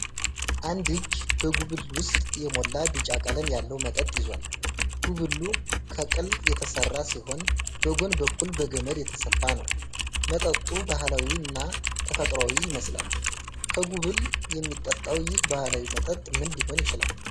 አንድ እጅ በጉብል ውስጥ የሞላ ቢጫ ቀለም ያለው መጠጥ ይዟል። ጉብሉ ከቅል የተሠራ ሲሆን በጎን በኩል በገመድ የተሰፋ ነው። መጠጡ ባህላዊና ተፈጥሯዊ ይመስላል። ከጉብል የሚጠጣው ይህ ባህላዊ መጠጥ ምን ሊሆን ይችላል?